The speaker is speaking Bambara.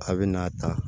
A bɛ n'a ta